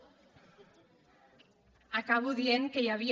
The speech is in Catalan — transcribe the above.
acabo dient que hi havia